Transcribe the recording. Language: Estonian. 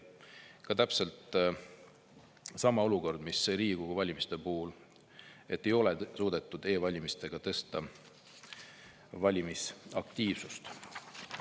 Täpselt sama olukord, mis Riigikogu valimiste puhul: ei ole suudetud e-valimistega valimisaktiivsust tõsta.